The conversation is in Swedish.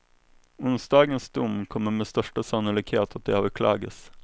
Onsdagens dom kommer med största sannolikhet att överklagas.